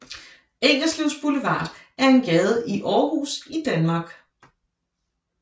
Ingerslevs Boulevard er en gade i Aarhus i Danmark